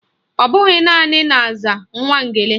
Ọbụghị naanị na-aza Nwangele